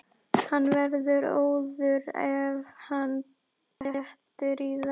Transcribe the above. Hann verður óður ef hann dettur í það!